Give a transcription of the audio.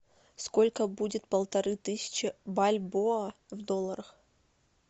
сколько будет полторы тысячи бальбоа в долларах